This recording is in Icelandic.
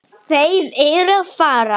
Þeir eru að fara.